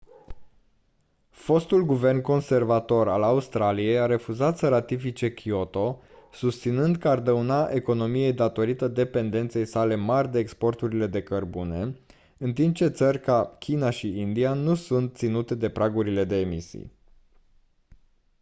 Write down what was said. fostul guvern conservator al australiei a refuzat să ratifice kyoto susținând că ar dauna economiei datorită dependenței sale mari de exporturile de cărbune în timp ce țări ca china și india nu sunt ținute de pragurile de emisii